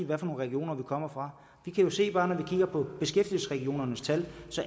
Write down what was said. hvad for nogle regioner vi kommer fra vi kan jo se bare når vi kigger på beskæftigelsesregionernes tal